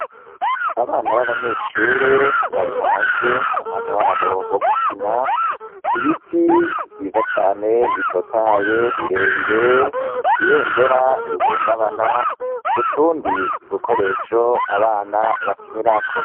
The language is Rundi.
Abana b'abanyeshure bari hanze, ni umwanya wabo wo gukina. Ibiti vyiza cane bitotahaye birebire, ibendera rihungabana, utundi dukoresho abana bakinirako.